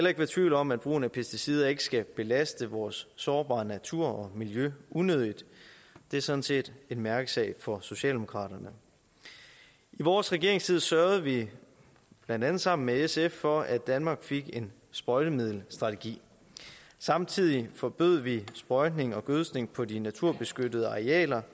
ikke være tvivl om at brugen af pesticider ikke skal belaste vores sårbare natur og miljø unødigt det er sådan set en mærkesag for socialdemokraterne i vores regeringstid sørgede vi blandt andet sammen med sf for at danmark fik en sprøjtemiddelstrategi samtidig forbød vi sprøjtning og gødskning på de naturbeskyttede arealer